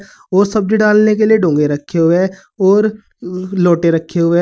ओ सब्जी डालने के लिए डोंगे रखें हुए हैं और लोटे रखें हुए --